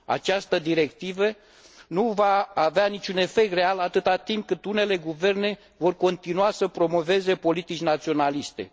Această directivă nu va avea niciun efect real atâta timp cât unele guverne vor continua să promoveze politici naționaliste.